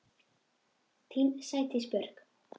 Þín Sædís Björk.